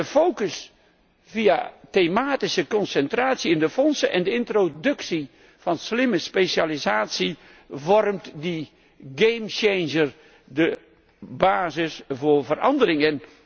De focus via de thematische concentratie in de fondsen en de introductie van slimme specialisatie vormt die kentering, de basis voor verandering.